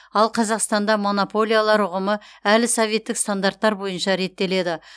ал қазақстанда монополиялар ұғымы әлі советтік стандарттар бойынша реттеледі